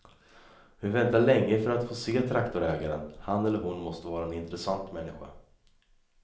Vi väntar länge för att få se traktorägaren, han eller hon måste vara en intressant människa.